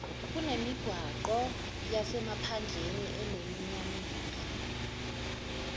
kunemigwaqo yasemaphandleni enesiminyaminya